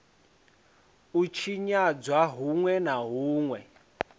u tshinyadzwa hunwe na hunwe